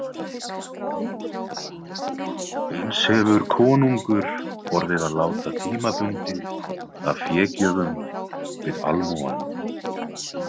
Eins hefur konungur orðið að láta tímabundið af fégjöfum við almúgann.